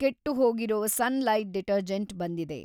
ಕೆಟ್ಟುಹೋಗಿರೋ Sunlight detergent ಬಂದಿದೆ.